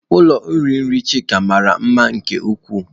Ụlọ iri nri Chika mara mma nke ukwuu.